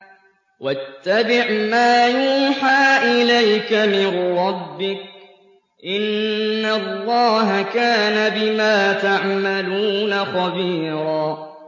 وَاتَّبِعْ مَا يُوحَىٰ إِلَيْكَ مِن رَّبِّكَ ۚ إِنَّ اللَّهَ كَانَ بِمَا تَعْمَلُونَ خَبِيرًا